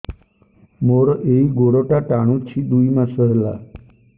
ମୋର ଏଇ ଗୋଡ଼ଟା ଟାଣୁଛି ଦୁଇ ମାସ ହେଲା